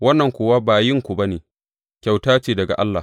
Wannan kuwa ba yinku ba ne, kyauta ce daga Allah.